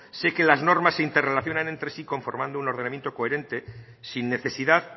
sé que las normas se interrelacionan entre sí conformando un ordenamiento coherente sin necesidad